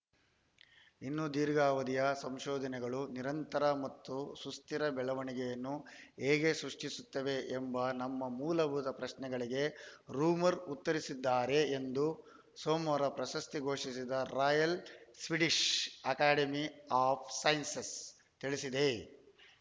ಇನ್ನು ದೀರ್ಘಾವಧಿಯ ಸಂಶೋಧನೆಗಳು ನಿರಂತರ ಮತ್ತು ಸುಸ್ಥಿರ ಬೆಳವಣಿಗೆಯನ್ನು ಹೇಗೆ ಸೃಷ್ಟಿಸುತ್ತವೆ ಎಂಬ ನಮ್ಮ ಮೂಲಭೂತ ಪ್ರಶ್ನೆಗಳಿಗೆ ರೋಮರ್‌ ಉತ್ತರಿಸಿದ್ದಾರೆ ಎಂದು ಸೋಮವಾರ ಪ್ರಶಸ್ತಿ ಘೋಷಿಸಿದ Royal Swedish Academy of Sciences ತಿಳಿಸಿದೆ